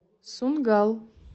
сунггал